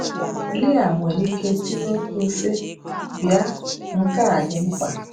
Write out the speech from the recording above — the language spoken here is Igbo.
Lia nwere ike tiwe mkpu, sị: Bịa, nke a dị mkpa!